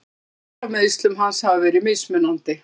Fréttirnar af meiðslum hans hafa verið mismunandi.